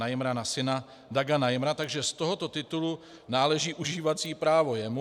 Najmra na syna Daga Najmra, takže z tohoto titulu náleží užívací právo jemu.